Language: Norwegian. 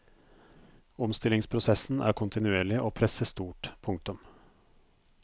Omstillingsprosessen er kontinuerlig og presset stort. punktum